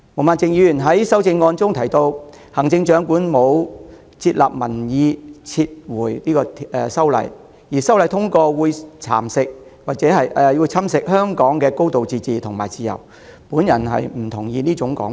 毛孟靜議員在修正案提到，行政長官沒有接納民意撤回修例建議，又說修例建議的通過會侵蝕香港的"高度自治"及自由，我對之不敢苟同。